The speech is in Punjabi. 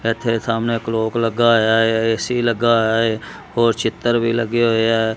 ਏੱਥੇ ਸਾਹਮਨੇ ਇੱਕ ਲੋਕ ਲੱਗਾ ਹੋਇਆ ਹੈ ਐ_ਸੀ ਲੱਗਾ ਹੋਇਆ ਹੈ ਹੋਰ ਚਿੱਤਰ ਵੀ ਲੱਗੇ ਹੋਏ ਹੈਂ।